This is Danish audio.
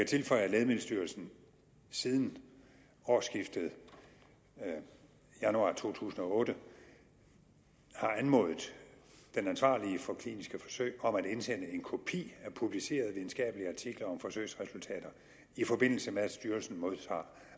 tilføje at lægemiddelstyrelsen siden årsskiftet januar to tusind og otte har anmodet den ansvarlige for kliniske forsøg om at indsende en kopi af publicerede videnskabelige artikler om forsøgsresultater i forbindelse med at styrelsen modtager